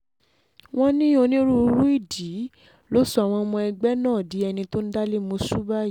wọ́n ní onírúurú ìdí ló sọ àwọn ọmọ ẹgbẹ́ náà di ẹni tó ń dalẹ̀mọ́sù báyìí